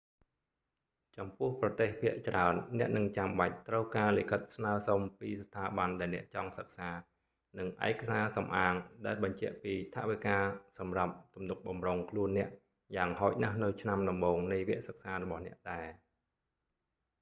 ចំពោះប្រទេសភាគច្រើន អ្នកនឹងចាំបាច់ត្រូវការលិខិតស្នើសុំពីស្ថាប័នដែលអ្នកចង់សិក្សា និងឯកសារសំអាងដែលបញ្ជាក់ពីថវិកាសម្រាប់ទំនុកបម្រុងខ្លួនអ្នក យ៉ាងហោចណាស់នៅឆ្នាំដំបូងនៃវគ្គសិក្សារបស់អ្នកដែរ